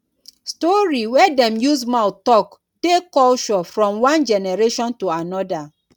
story wey dem use mouth talk dey culture from one generation to anoda